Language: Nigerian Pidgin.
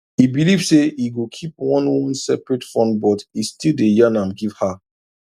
e believe say e go keep one one seperate fundbut e still day yan am give her